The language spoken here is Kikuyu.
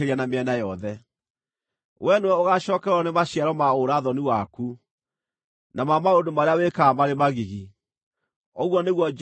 Wee nĩwe ũgaacookererwo nĩ maciaro ma ũũra-thoni waku, na ma maũndũ marĩa wĩkaga marĩ magigi, ũguo nĩguo Jehova ekuuga.